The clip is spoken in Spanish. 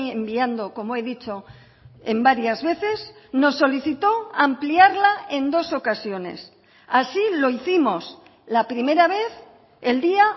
enviando como he dicho en varias veces nos solicitó ampliarla en dos ocasiones así lo hicimos la primera vez el día